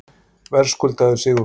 Verðskuldaður sigur Fram